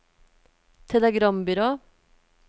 telegrambyrå